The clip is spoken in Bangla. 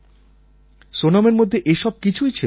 সোনমের মধ্যে এসব কিছুই ছিল না